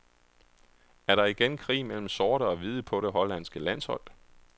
Er der igen krig mellem sorte og hvide på det hollandske landshold?